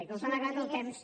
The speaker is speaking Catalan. com que se m’ha acabat el temps